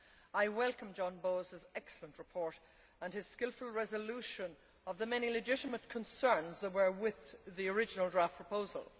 I welcome John Bowis's excellent report and his skilful resolution of the many legitimate concerns that were with the original draft proposal.